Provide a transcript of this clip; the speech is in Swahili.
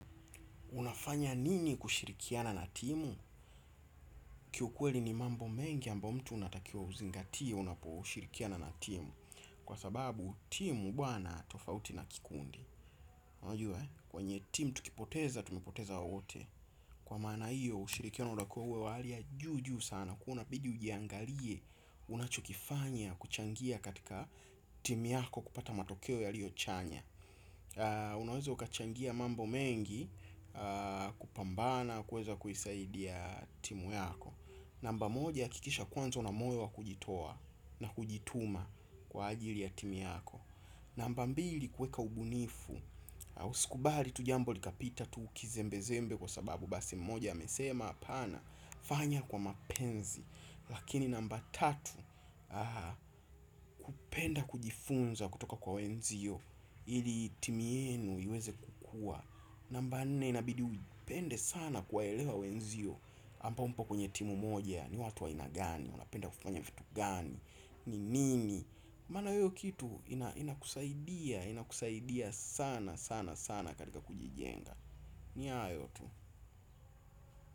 Unafanya nini kushirikiana na timu? Kiukweli ni mambo mengi ambayo mtu unatakiwa uzingatie unaposhirikiana na timu. Kwa sababu timu huwa na tofauti na kikundi. Unajua eh, kwenye timu tukipoteza, tumepoteza wote. Kwa maana hiyo ushirikiano unakuwa wa hali ya juu juu sana. Kwa hiyo inabidi ujiangalie unachokifanya kuchangia katika timu yako kupata matokeo yaliyo chanya. Unaweza ukachangia mambo mengi kupambana kuweza kuisaidia timu yako. Namba moja hakikisha kwanza una moyo wa kujitoa na kujituma kwa ajili ya timu yako. Namba mbili kuweka ubunifu. Usikubali tu jambo likapita tu kizembezembe kwa sababu basi mmoja amesema hapana, fanya kwa mapenzi. Lakini namba tatu kupenda kujifunza kutoka kwa wenzio. Ili timu yenu iweze kukua. Namba nne inabidi upende sana kuwaelewa wenzio. Ambao mpo kwenye timu moja ni watu wa aina gani, wanapenda kufanya vitu gani. Ni nini maana hiyo kitu inakusaidia sana sana sana katika kujijenga. Ni hayo tu.